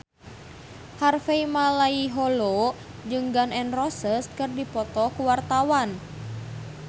Harvey Malaiholo jeung Gun N Roses keur dipoto ku wartawan